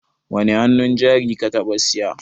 Wani hannun jari ka taɓa siya?